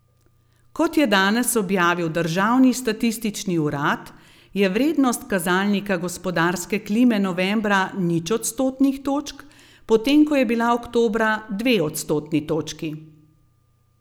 Kot je danes objavil državni statistični urad, je vrednost kazalnika gospodarske klime novembra nič odstotnih točk, potem ko je bila oktobra dve odstotni točki.